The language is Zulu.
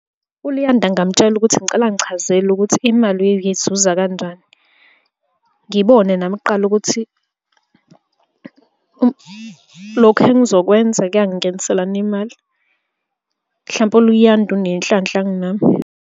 ULuyanda ngingamutshela ukuthi ngicela angichazela ukuthi imali uyizuza kanjani. Ngibone nami kuqala ukuthi lokhu engizokwenza kuyangingenisela yini imali, mhlampe uLuyanda unenhlanhla kunami.